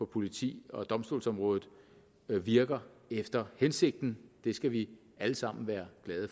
politi og domstolsområdet virker efter hensigten det skal vi alle sammen være glade